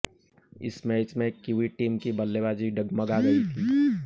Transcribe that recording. इस मैच में Kiwi team की बल्लेबाजी डगमगा गई थी